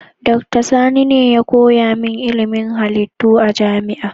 Dr. Sani ne ya koya min ilimin halittu a jami'a.